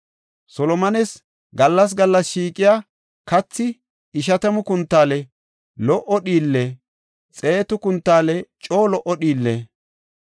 Solomones gallas gallas shiiqiya kathi; ishatamu kuntaale lo77o dhiille, xeetu kuntaale coo dhiille,